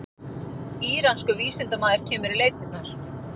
Íranskur vísindamaður kemur í leitirnar